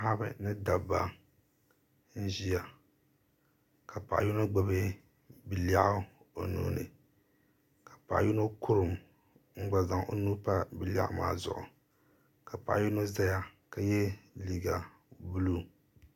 paɣ' ba ni da ba n ʒɛya ka paɣ' yino gbabi belɛɣigu o nuuni ka paɣ' yino kurim n gba zaŋ o nuu pa bi lɛɣigu maa zuɣ' ka paɣ' yino zaya ka yɛ liga bulu